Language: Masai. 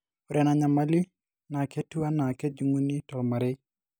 ore ena nyamali naa ketiu anaa kejunguni tolmarei